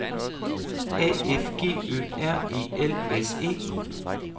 A F G Ø R E L S E